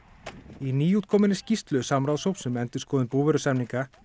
í nýútkominni skýrslu samráðshóps um endurskoðun búvörusamninga